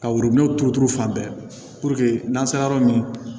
Ka worobinɛ turu turu fan bɛɛ n'an sera yɔrɔ min